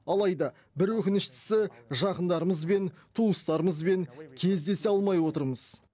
алайда бір өкініштісі жақындарымызбен туыстарымызбен кездесе алмай отырмыз